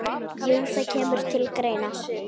Jú, það kemur til greina.